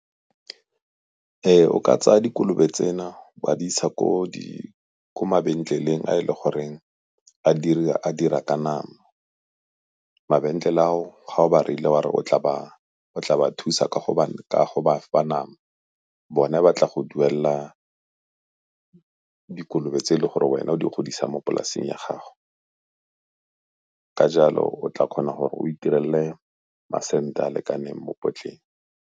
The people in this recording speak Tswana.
O ka tsaya dikolobe tsena o a di isa ko mabenkeleng a e leng gore a dira ka nama. Mabenkele ao ga o ba reile wa re o tla ba thusa ka go ba fa nama bone ba tla go duelela dikolobe tse e le gore wena o di godisa mo polasing ya gago, ka jalo o tla kgona gore o itirelele masente a a lekaneng mo potleng.